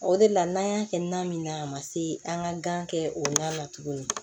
O de la n'an y'a kɛ na min na a ma se an ka gan kɛ o na tugun